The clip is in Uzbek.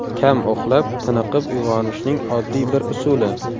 Kam uxlab, tiniqib uyg‘onishning oddiy bir usuli.